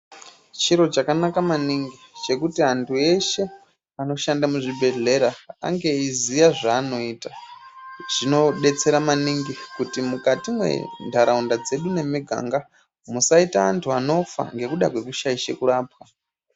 Chiro chakanaka maningi chekuti antu eshe anoshanda muzvibhehlera ange eyiziya zvaanoita. Zvinodetsera maningi mukati mwentaraunda dzedu nemiganga musaita antu anofa ngekuda kwekushaisha kurapwa.